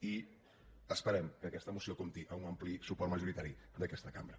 i esperem que aquesta moció compti amb un ampli suport majoritari d’aquesta cambra